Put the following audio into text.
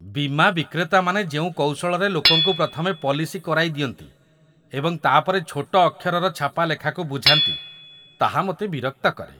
ବୀମା ବିକ୍ରେତାମାନେ ଯେଉଁ କୌଶଳରେ ଲୋକଙ୍କୁ ପ୍ରଥମେ ପଲିସି କରାଇଦିଅନ୍ତି, ଏବଂ ତା'ପରେ ଛୋଟ ଅକ୍ଷରର ଛାପା ଲେଖାକୁ ବୁଝାନ୍ତି, ତାହା ମୋତେ ବିରକ୍ତ କରେ।